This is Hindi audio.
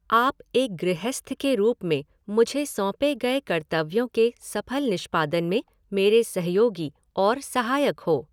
आप एक गृहस्थ के रूप में मुझे सौंपे गए कर्तव्यों के सफल निष्पादन में मेरे सहयोगी और सहायक हो।